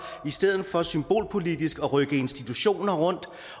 stedet for symbolpolitisk at rykke institutioner rundt